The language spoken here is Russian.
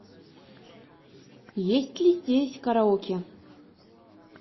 есть ли здесь караоке